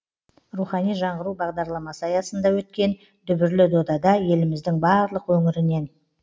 рухани жаңғыру бағдарламасы аясында өткен дүбірлі додада еліміздің барлық өңірінен